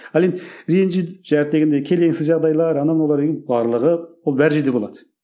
ал енді ренжиді келеңсіз жағдайлары анау мынау енді барлығы ол бар жерде болады